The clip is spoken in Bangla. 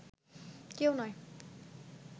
কেউ নয়